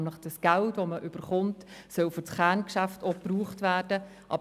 Er fordert, dass das öffentliche Geld für das Kerngeschäft verwendet werden muss.